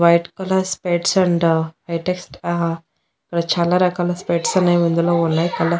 white colour specs అంట latest ఆ ఇక్కడ చాలా రకాల స్పెక్ట్స్ అనేవిందులో ఉన్నాయ్ కల--